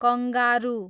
kangaroo